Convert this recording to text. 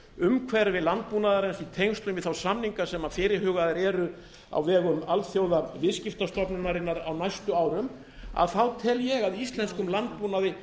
umhverfi landbúnaðarins í tengslum við þá samninga sem fyrirhugaðir eru á vegum alþjóðaviðskiptastofnunarinnar á næstu árum þá tel ég að íslenskum landbúnaði